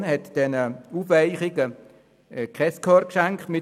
Die Kommission hat dieser Aufweichung kein Gehör geschenkt.